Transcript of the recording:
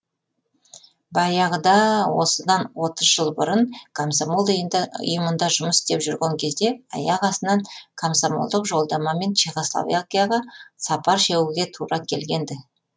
баяғыда а осыдан отыз жыл бұрын комсомол ұйымында жұмыс істеп жүрген кезде аяқ астынан комсомолдық жолдамамен чехословакияға сапар шегуге тура келген ді